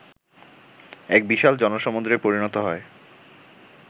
এক বিশাল জনসমূদ্রে পরিণত হয়